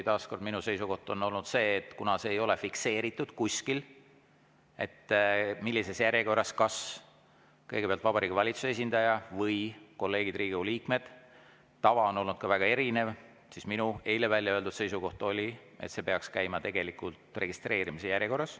Taas kord, minu seisukoht on olnud see, et kuna kuskil ei ole fikseeritud, millises järjekorras, kas kõigepealt Vabariigi Valitsuse esindaja või kolleegid, Riigikogu liikmed, tava on olnud väga erinev, siis minu eile välja öeldud seisukoht oli, et see peaks käima registreerimise järjekorras.